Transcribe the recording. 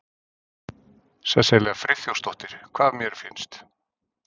Sesselja Friðþjófsdóttir: Hvað mér finnst?